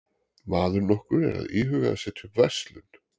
Maður nokkur er að íhuga að setja upp verslun.